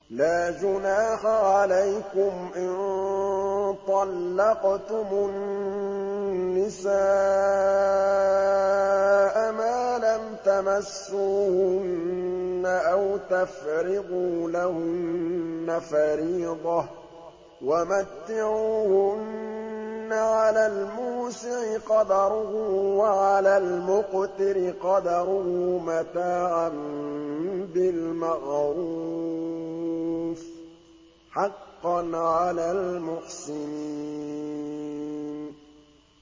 لَّا جُنَاحَ عَلَيْكُمْ إِن طَلَّقْتُمُ النِّسَاءَ مَا لَمْ تَمَسُّوهُنَّ أَوْ تَفْرِضُوا لَهُنَّ فَرِيضَةً ۚ وَمَتِّعُوهُنَّ عَلَى الْمُوسِعِ قَدَرُهُ وَعَلَى الْمُقْتِرِ قَدَرُهُ مَتَاعًا بِالْمَعْرُوفِ ۖ حَقًّا عَلَى الْمُحْسِنِينَ